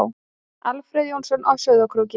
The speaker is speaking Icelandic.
Alfreð Jónsson á Sauðárkróki